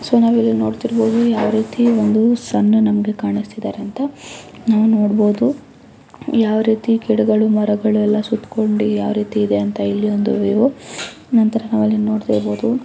so ನಾವು ಇಲ್ಲಿ ನೋಡ್ತಿರಬಹುದು ಯಾವ ರೀತಿ ಒಂದು ಸನ್ನ ಮಗೆ ಕಾಣಿಸ್ತಿದವೆ ಅಂತ ನಾವು ನೋಡಬಹುದು ಯಾವ ರೀತಿ ಗಿಡಗಳು ಮರಗಳು ಎಲ್ಲಾ ಸುತ್ತಿಕೊಂಡಿವೆ ಯಾವ ರೀತಿ ಇದೆ ವಿವೋ ನಂತರ ಅಲ್ಲಿ ನಾವು ನೋಡ್ತಾ ಇರಬಹುದು --